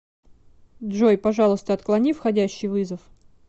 джой пожалуйста отклони входящий вызов